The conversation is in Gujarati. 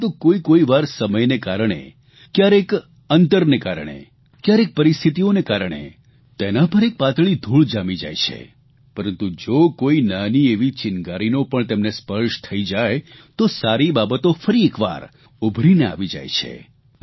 પરંતુ કોઇકોઇ વાર સમયને કારણે કયારેક અંતરને કારણે કયારેક પરિસ્થિતિઓને કારણે તેના પર એક પાતળી ધૂળ જામી જાય છે પરંતુ જો કોઇ નાની એવી ચિનગારીનો પણ તેમને સ્પર્શ થઇ જાય તો સારી બાબતો ફરી એકવાર ઉભરીને આવી જાય છે